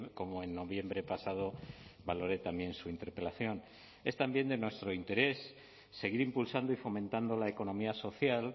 como en noviembre pasado valoré también su interpelación es también de nuestro interés seguir impulsando y fomentando la economía social